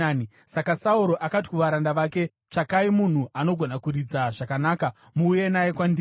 Saka Sauro akati kuvaranda vake, “Tsvakai munhu anogona kuridza zvakanaka muuye naye kwandiri.”